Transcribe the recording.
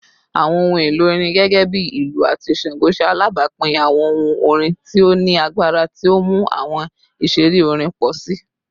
Awọn ohun elo orin, gẹgẹbi ilu ati shango, ṣe alabapin awọn ohun orin ti o ni agbara ti o mu awọn iṣere orin pọ si